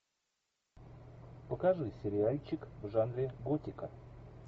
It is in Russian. покажи сериальчик в жанре готика